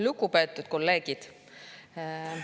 Lugupeetud kolleegid!